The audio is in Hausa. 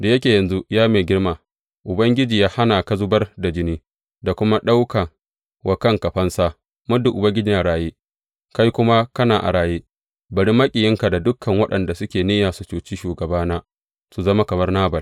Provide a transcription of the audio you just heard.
Da yake yanzu, ya mai girma, Ubangiji ya hana ka zubar da jini da kuma ɗaukan wa kanka fansa, muddin Ubangiji yana raye, kai kuma kana a raye, bari maƙiyinka da dukan waɗanda suke niyya su cuci shugabana su zama kamar Nabal.